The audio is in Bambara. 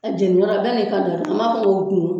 Jeniyɔrɔ bɛɛ n'i ka dɔ do an m'a fɔ ko